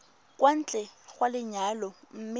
kwa ntle ga lenyalo mme